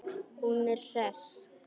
Hún er hress.